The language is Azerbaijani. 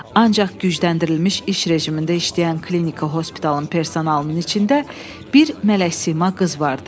Ancaq gücləndirilmiş iş rejimində işləyən klinika hospitalın personalının içində bir mələk sima qız vardı.